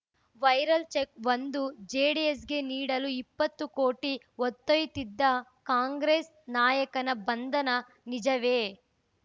viral check ಒಂದು ಜೆಡಿಎಸ್‌ಗೆ ನೀಡಲು ಇಪ್ಪತ್ತು ಕೋಟಿ ಹೊತ್ತೊಯ್ಯತ್ತಿದ್ದ ಕಾಂಗ್ರೆಸ್‌ ನಾಯಕನ ಬಂಧನ ನಿಜವೇ